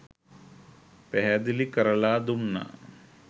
පැහැදිලි කරලා දුන්නා.